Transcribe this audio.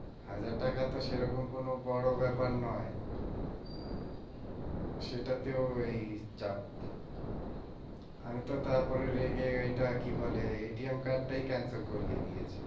হাজার টাকা তো সেরকম কোনো বড় ব্যাপার নয়। সেটাতেও এই চাপ। আমিতো তারপরে রেগে ওইটা কি বলে? card টাই cancel করিয়ে দিয়েছি।